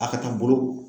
A ka taa bolo